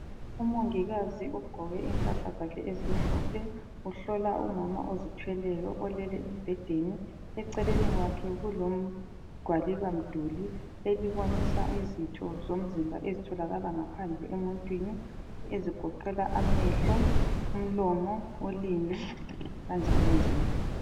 Umongikazi ugqoke impahla zakhe ezimhlophe, uhlola umama ozithweleyo olele embhedeni. Eceleni kwakhe kulegwalibamduli elibonisa izitho zomzimba ezitholakala ngaphandle emuntwini ezigoqela amehlo, umlomo, ulimi kanjalonjalo.